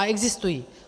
A existují.